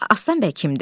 Aslan bəy kimdir?